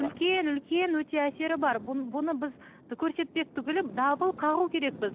үлкен үлкен өте әсері бар бұны біз көрсетпек түгілі дабыл қағу керекпіз